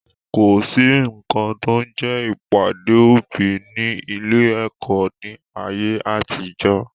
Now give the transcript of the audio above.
Kọ̀sí nkan to ń jẹ́ ìpàdé òbí ni ilé-ẹ̀kọ́ ni ayé àtijọ́